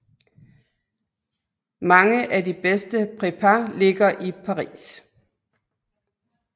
Mange af de bedste prépas ligger i Paris